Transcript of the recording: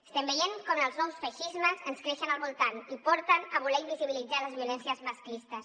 estem veient com els nous feixismes ens creixen al voltant i porten a voler invisibilitzar les violències masclistes